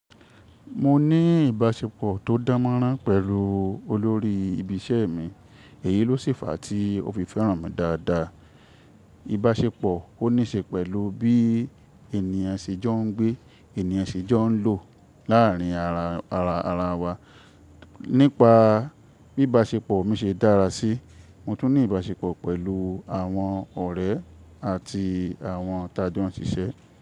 Mo ní ìbáṣepọ̀ tó dánmọ́nrán pẹ̀lú olórí ibi iṣẹ́ mi, èyí ló sèfà tí ó fi fẹ́ràn mi dáadáa. Ìbáṣepọ̀ óní ṣe pẹ̀lú bí ènìyàn ṣe jọ ń gbé, ènìyàn ṣe jọ ń lò láàrín ara wa. Nípa bí ìbáṣepọ̀ mi ṣe dára sí, mo tún ní ìbáṣepọ̀ pẹ̀lú àwọn ọ̀rẹ́ àti àwọn ìtàjo n ṣìṣẹ́.